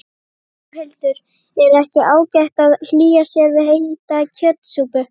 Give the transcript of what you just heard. Þórhildur: Er ekki ágætt að hlýja sér við heita kjötsúpu?